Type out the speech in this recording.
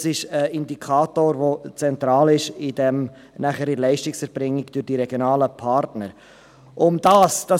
Das ist ein Indikator, der nachher in der Leistungserbringung durch die regionalen Partner zentral ist.